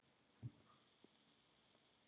Og Pési